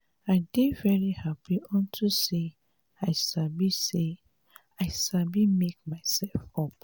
i dey very happy unto say i sabi say i sabi make myself up